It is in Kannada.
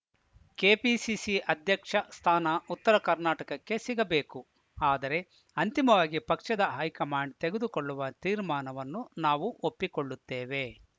ಕೆಪಿಸಿಸಿ ಅಧ್ಯಕ್ಷ ಸ್ಥಾನ ಉತ್ತರ ಕರ್ನಾಟಕಕ್ಕೆ ಸಿಗಬೇಕು ಆದರೆ ಅಂತಿಮವಾಗಿ ಪಕ್ಷದ ಹೈಕಮಾಂಡ್‌ ತೆಗೆದುಕೊಳ್ಳುವ ತೀರ್ಮಾನವನ್ನು ನಾವು ಒಪ್ಪಿಕೊಳ್ಳುತ್ತೇವೆ